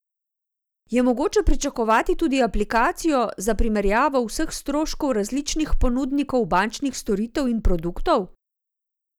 Je mogoče pričakovati tudi aplikacijo za primerjavo vseh stroškov različnih ponudnikov bančnih storitev in produktov?